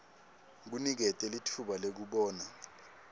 kunikete litfuba lekubona